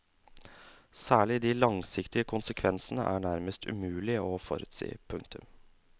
Særlig de langsiktige konsekvensene er nærmest umulige å forutsi. punktum